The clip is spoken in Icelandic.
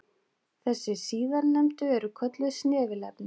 Þessi síðarnefndu eru kölluð snefilefni.